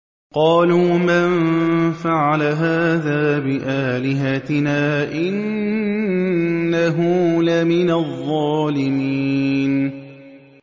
قَالُوا مَن فَعَلَ هَٰذَا بِآلِهَتِنَا إِنَّهُ لَمِنَ الظَّالِمِينَ